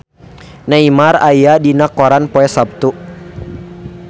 Neymar aya dina koran poe Saptu